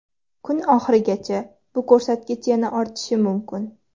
Kun oxirigacha bu ko‘rsatkich yana ortishi mumkin.